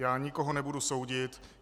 Já nikoho nebudu soudit.